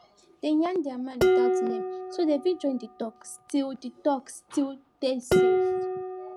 dem yarn their mind without name so dem fit join the talk still the talk still dey safe